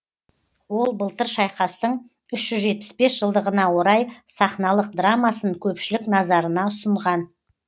ол былтыр шайқастың үш жүз жетпіс бес жылдығына орай сахналық драмасын көпшілік назарына ұсынған